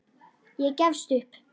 Ég gefst upp.